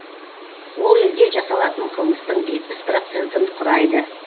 ол елде жасалатын қылмыстың жетпіс процентін құрайды